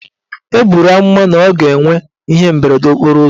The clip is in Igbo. E buru amụma na ọ ga-enwe ihe mberede okporo ụzọ.